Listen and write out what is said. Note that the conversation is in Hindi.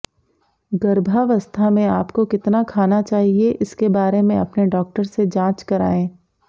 गर्भावस्था में आपको कितना खाना चाहिए इसके बारे में अपने डॉक्टर से जांच कराएं